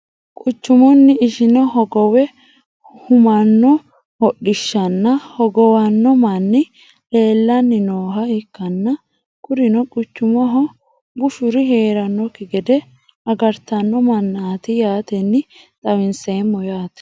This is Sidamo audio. Quchchumuni ishine hogowe humano hodhishshanna hogowano mani leelani nooha ikaanna kurino quchumaho bushuri heeranoki gede agartano manaati yaateni xawinseemo yaate.